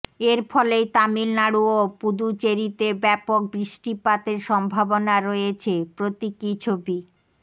এরফলেই তামিলনাড়ু ও পুদুচেরিতে ব্যাপক বৃষ্টিপাতের সম্ভাবনা রয়েছে প্রতীকী ছবি